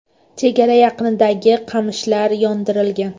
Chegara yaqinidagi qamishlar yondirilgan.